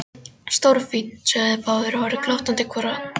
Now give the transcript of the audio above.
Stórfínt sögðu þeir báðir og horfðu glottandi hvor á annan.